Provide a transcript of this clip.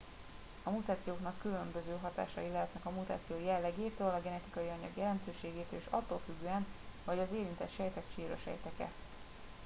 a mutációknak különböző hatásai lehetnek a mutáció jellegétől a genetikai anyag jelentőségétől és attól függően hogy az érintett sejtek csíra sejtek e